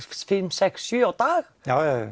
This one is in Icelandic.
sex sjö á dag já